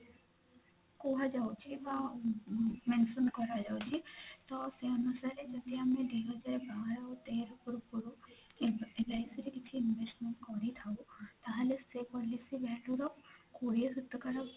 କୁହାଯାଉଛି ହଁ mention କରାଯାଉଛି ତ ସେ ଅନୁସାରେ ଯଦି ଆମେ ଦୁଇ ହଜାର ବାର ଆଉ ତେର ପୂର୍ବରୁ LIC ରେ କିଛି investment କରିଥାଉ ତା ହେଲେ ସେ policy ରୁ କୋଡିଏ ଶତକଡା